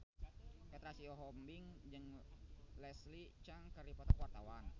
Petra Sihombing jeung Leslie Cheung keur dipoto ku wartawan